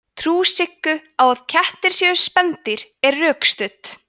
trú siggu á að kettir séu spendýr er rökstudd